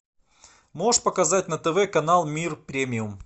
можешь показать на тв мир премиум